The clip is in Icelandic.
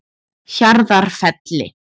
Hjarðarfelli